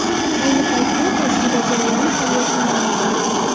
Ayni paytda tajriba jarayoni hali yakunlanmagan.